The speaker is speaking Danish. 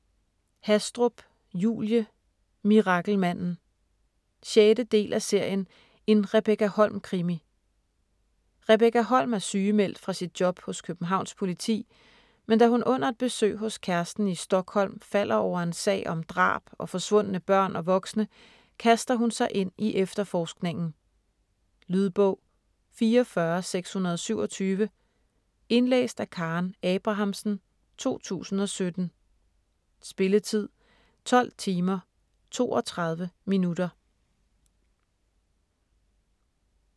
Hastrup, Julie: Mirakelmanden 6. del af serien En Rebekka Holm-krimi. Rebekka Holm er sygemeldt fra sit job hos Københavns Politi, men da hun under et besøg hos kæresten i Stockholm falder over en sag om drab og forsvundne børn og voksne, kaster hun sig ind i efterforskningen. Lydbog 44627 Indlæst af Karen Abrahamsen, 2017. Spilletid: 12 timer, 32 minutter.